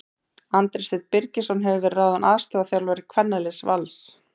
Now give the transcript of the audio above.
Andri Steinn Birgisson hefur verið ráðinn aðstoðarþjálfari kvennaliðs Vals.